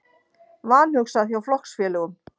Vanhugsað hjá flokksfélögum